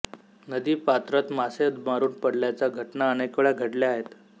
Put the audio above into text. नदीपात्रत मासे मरून पडल्याच्या घटना अनेकवेळा घडल्या आहेत